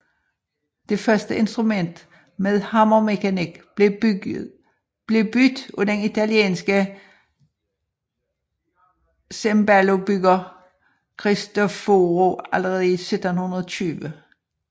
Det første instrument med hammermekanik blev bygget af den italienske cembalobygger Cristofori allerede i 1720